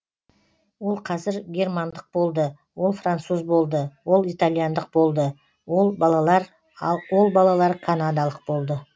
ол қазір германдық болды ол француз болды ол италяндық болды ол балалар ол балалар канадалық болды